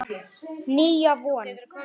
Nýja von.